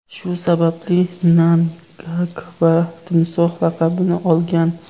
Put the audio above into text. Shu sababli Mnangagva Timsoh laqabini olgan.